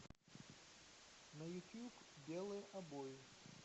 на ютуб белые обои